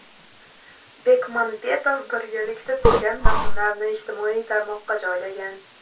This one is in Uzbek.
Bekmambetov birgalikda tushgan rasmlarini ijtimoiy tarmoqqa joylagan.